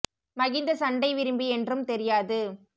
மகிந்த சண்டை விரும்பி என்றும் தெரியாது